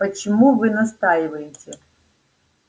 почему вы настаиваете